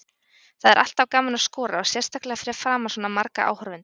Það er alltaf gaman að skora og sérstaklega fyrir framan svona marga áhorfendur.